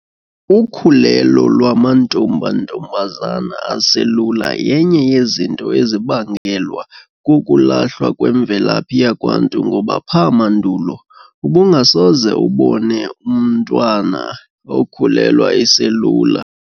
Ukhulelo lwamantombantombazana aselula yenye yezinto ezibangelwa kokulahlwa kwemvelaphi yakwaNtu ngoba pha mandulo ubungasoze umbone umntwana okhulelwa eselula.